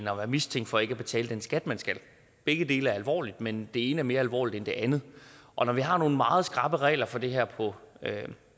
at være mistænkt for ikke at betale den skat man skal begge dele er alvorlige men det ene er mere alvorligt end det andet og når vi har nogle meget skrappe regler for det her på